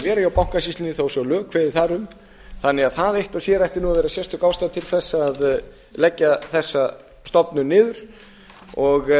vera hjá bankasýslunni þó svo að lög kveði á þar um það eitt og sér ætti því að vera sérstök ástæða til þess að leggja þessa stofnun niður og